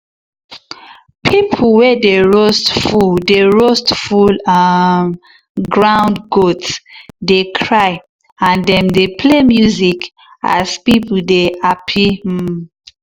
people way dey roast full dey roast full um ground goat dey cry and dem dey play music as people dey happy. um